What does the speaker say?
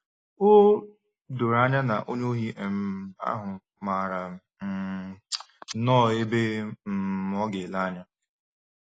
O doro anya na onye ohi um ahụ maara um nnọọ ebe um ọ ga-ele anya.